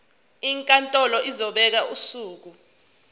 inkantolo izobeka usuku